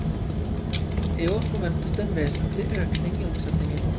I år forventes det en vesentlig økning i omsetningen.